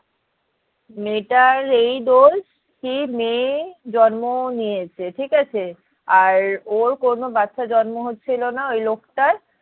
মেয়েটার এই দোষ কি মেয়ে জন্ম নিয়েছে ঠিক আছে আর ওর কোনো বাচ্চা জন্ম হচ্ছিলো না ওই লোকটার